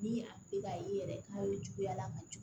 Ni a bɛ a ye yɛrɛ k'a ye juguya la ka jigin